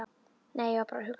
Nei, ég var bara að hugsa.